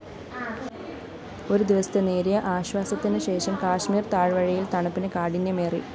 ഒരുദിവസത്തെ നേരിയ ആശ്വാസത്തിനുശേഷം കശ്മീര്‍ താഴ്‌വരയില്‍ തണുപ്പിന് കാഠിന്യമേറി